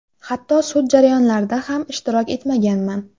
Hatto sud jarayonlarida ham ishtirok etmaganman.